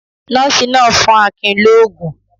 Nọ́ọ́sì náà ń fún Akin lóógún.